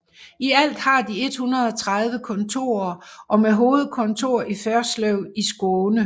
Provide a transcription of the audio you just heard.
I alt har de 130 kontorer og med hovedkontor i Förslöv i Skåne